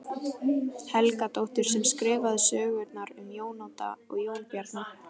Helgadóttur sem skrifaði sögurnar um Jón Odd og Jón Bjarna.